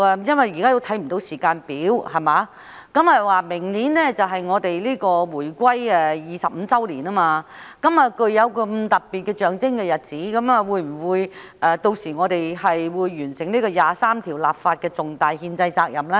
因為現時看不到時間表，而明年便是香港回歸25周年，在這個具有特別象徵意義的日子，我們會否完成第二十三條立法的重大憲制責任呢？